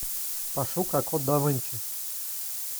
пошукай код да винчи